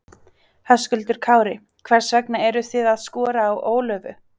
Höskuldur Kári: Hvers vegna eru þið að skora á Ólöfu?